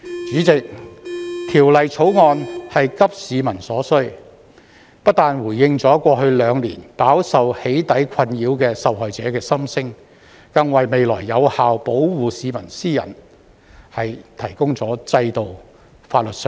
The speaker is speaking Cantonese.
主席，《條例草案》是急市民之所需，不但回應了在過去兩年飽受"起底"困擾的受害者的心聲，更為未來有效保護市民私隱提供了制度、法律上的保障。